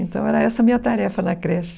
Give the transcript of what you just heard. Então, era essa a minha tarefa na creche.